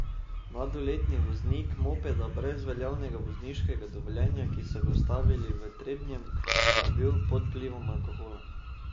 Mladoletni voznik mopeda brez veljavnega vozniškega dovoljenja, ki so ga ustavili v Trebnjem, pa je bil pod vplivom alkohola.